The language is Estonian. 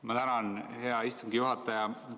Ma tänan, hea istungi juhataja!